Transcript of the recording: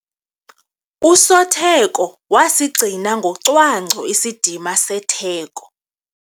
Usotheko wasigcina ngocwangco isidima setheko.